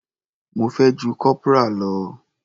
Mo fẹ́ ju corporal lọ.